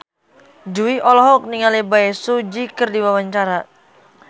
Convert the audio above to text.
Jui olohok ningali Bae Su Ji keur diwawancara